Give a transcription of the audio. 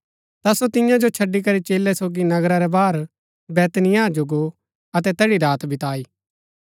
ता सो तियां जो छड़ी करी चेलै सोगी नगरा रै बाहर बैतनिय्याह जो गो अतै तैठी रात बताई